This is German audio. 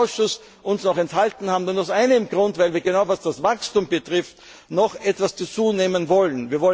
Wenn wir uns im Ausschuss noch enthalten haben, dann aus einem Grund, weil wir, was genau das Wachstum betrifft, noch etwas dazunehmen wollen.